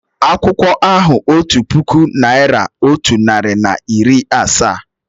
Akwụkwọ ahụ otu puku naị́ra, otu narị na iri asaa.